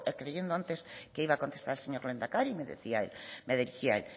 creyendo antes que iba a contestar el señor lehendakari me dirigí a él